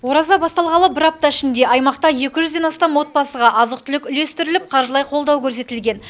ораза басталғалы бір апта ішінде аймақта екі жүзден астам отбасыға азық түлік үлестіріліп қаржылай қолдау көрсетілген